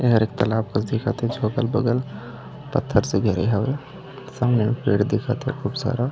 एहर एक तालाब कस दिखत हे थोकन बगल पत्थर से घिरे हवे संग मे पेड़ दिखत हे खूब सारा--